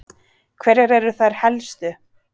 Hverjar eru þær helstu?